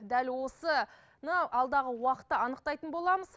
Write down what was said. дәл осыны алдағы уақытта анықтайтын боламыз